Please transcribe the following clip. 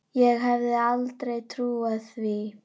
Ég hefði aldrei trúað því.